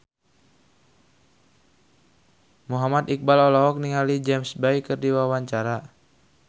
Muhammad Iqbal olohok ningali James Bay keur diwawancara